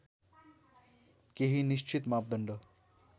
केही निश्चित मापदण्ड